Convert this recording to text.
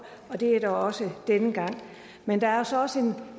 og det er der også denne gang men der er så også